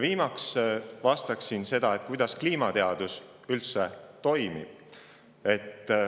Viimaks selgitaksin, kuidas kliimateadus toimib.